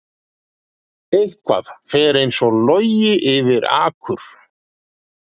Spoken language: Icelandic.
Eitthvað fer eins og logi yfir akur